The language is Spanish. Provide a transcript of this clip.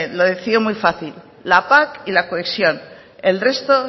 lo decía muy fácil la pac y la cohesión el resto